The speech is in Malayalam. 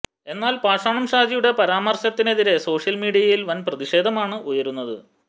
എന്നാൽ പാഷാണം ഷാജിയുടെ പരാമര്ശത്തിനെതിരെ സോഷ്യൽ മീഡിയിൽ വൻ പ്രതിഷേധമാണ് ഉയരുന്നത്